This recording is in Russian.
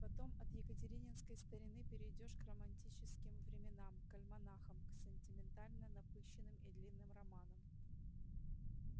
потом от екатерининской старины перейдёшь к романтическим временам к альманахам к сентиментально-напыщенным и длинным романам